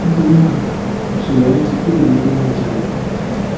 nítorí náà ìṣẹlẹ yẹn ti kúrò ni pé wọn jalè